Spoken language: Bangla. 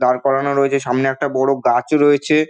দাঁড় করানো রয়েছে সামনে একটা বড়ো গাছ রয়েছে।